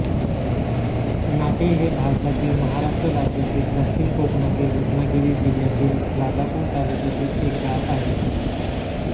नाटे हे भारतातील महाराष्ट्र राज्यातील दक्षिण कोकणातील रत्नागिरी जिल्ह्यातील राजापूर तालुक्यातील एक गाव आहे